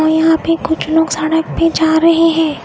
और यहाँ पे कुछ लोग सड़क पे जा रहे हैं।